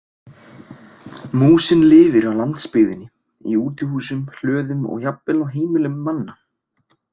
Músin lifir á landsbyggðinni í útihúsum, hlöðum og jafnvel á heimilum manna.